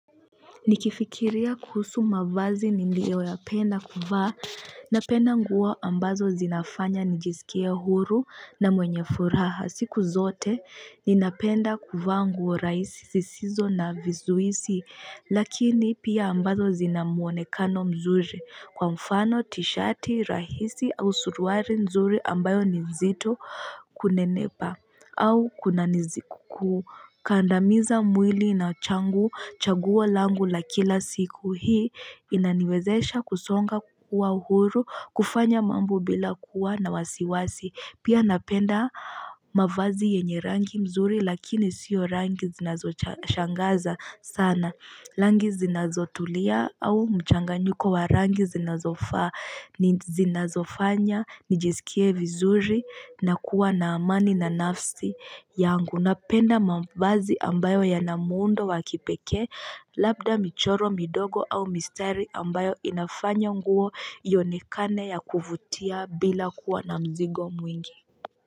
Nikifikiria kuhusu mavazi niliyoyapenda kuvaa napenda nguo ambazo zinafanya nijiskie huru na mwenye furaha siku zote ninapenda kuvaa nguo raisi zisizo na vizuisi lakini pia ambazo zina muonekano mzuri kwa mfano tishati rahisi au suruari nzuri ambayo ni nzito kunenepa au kuna niziku kukandamiza mwili na changu chaguo langu la kila siku hii inaniwezesha kusonga kukua huru kufanya mambo bila kuwa na wasiwasi. Pia napenda mavazi yenye rangi mzuri lakini sio rangi zinazoshangaza sana. Langi zinazotulia au mchanganyiko wa rangi zinazofaa ni zinazofanya nijiskie vizuri na kuwa na amani na nafsi yangu napenda mavazi ambayo yana muundo wa kipekee labda michoro midogo au mistari ambayo inafanya nguo ionekane ya kuvutia bila kuwa na mzigo mwingi.